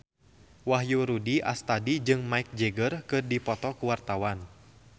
Wahyu Rudi Astadi jeung Mick Jagger keur dipoto ku wartawan